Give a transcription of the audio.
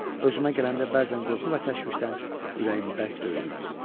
Özümə gələndə bəzən qorxu və təşvişdən ürəyim bərk döyünürdü.